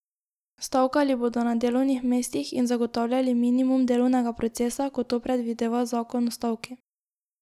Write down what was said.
Stavkali bodo na delovnih mestih in zagotavljali minimum delovnega procesa, kot to predvideva zakon o stavki.